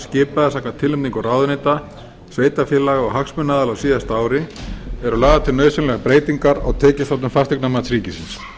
skipaði samkvæmt tilnefningu ráðuneyta sveitarfélaga og hagsmunaaðila á síðasta ári eru lagðar til nauðsynlegar breytingar á tekjustofnum fasteignamats ríkisins